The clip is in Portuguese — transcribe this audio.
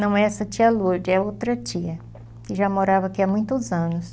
Não, essa é a tia Lourdes, é outra tia que já morava aqui há muitos anos.